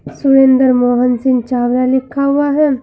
सुरेंद्र मोहन सिंह चावला लिखा हुआ है।